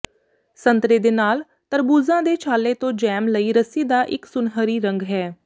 ਸੰਤਰੇ ਦੇ ਨਾਲ ਤਰਬੂਜ਼ਾਂ ਦੇ ਛਾਲੇ ਤੋਂ ਜੈਮ ਲਈ ਰੱਸੀ ਦਾ ਇੱਕ ਸੁਨਹਿਰੀ ਰੰਗ ਹੈ